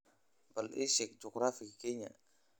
Bal ii sheeg juqraafiga Kenya